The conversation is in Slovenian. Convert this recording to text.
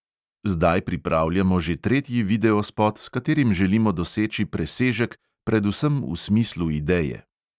Zdaj pripravljamo že tretji videospot, s katerim želimo doseči presežek predvsem v smislu ideje.